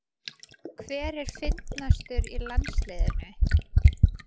Hver er fyndnastur í landsliðinu?